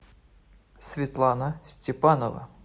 светлана степанова